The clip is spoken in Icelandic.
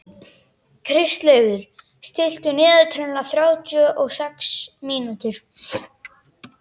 Kristleifur, stilltu niðurteljara á þrjátíu og sex mínútur.